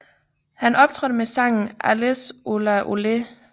Han optrådte med sangen Allez Ola Olé